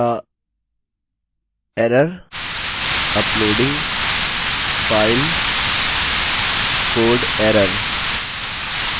या error uploading file code error